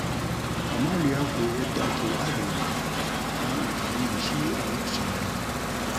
Kamalu ya koyi yadda ake adana ruwa don amfani da shi a lokacin rani.